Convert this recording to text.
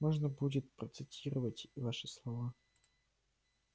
можно будет процитировать ваши слова